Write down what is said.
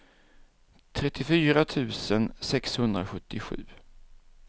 trettiofyra tusen sexhundrasjuttiosju